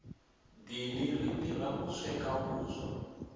dini ri tirha ku sweka vuswa